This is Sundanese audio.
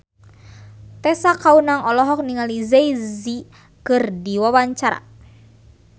Tessa Kaunang olohok ningali Jay Z keur diwawancara